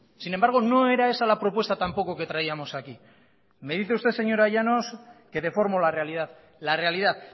sin embargo no era esa la propuesta tampoco que traíamos aquí me dice usted señora llanos que deformo la realidad la realidad